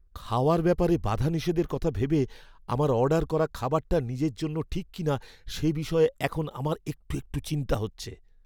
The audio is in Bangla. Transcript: খাওয়ার ব্যাপারে বাধানিষেধের কথা ভেবে আমার অর্ডার করা খাবারটা নিজের জন্য ঠিক কিনা সে বিষয়ে এখন আমার একটু একটু চিন্তা হচ্ছে।